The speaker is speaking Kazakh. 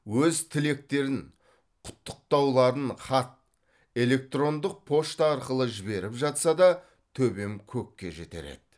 өз тілектерін құттықтауларын хат электрондық пошта арқылы жіберіп жатса да төбем көкке жетер еді